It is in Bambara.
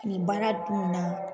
Nin baara dun na